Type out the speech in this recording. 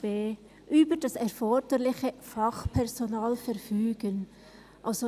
«über das erforderliche Fachpersonal verfügen».